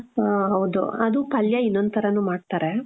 ಹ ಹೌದು ಅದು ಪಲ್ಯ ಇನೊಂದ್ ಥರನೂ ಮಾಡ್ತಾರೆ .